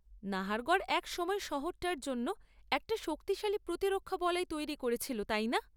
নাহারগড় একসময় শহরটার জন্য একটা শক্তিশালী প্রতিরক্ষা বলয় তৈরি করেছিল, তাই না?